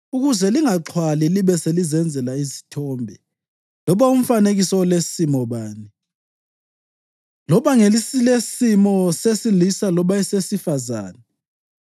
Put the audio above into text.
ukuze lingaxhwali libe selizenzela isithombe, loba umfanekiso olesimo bani, loba ngesilesimo sesilisa loba esesifazane,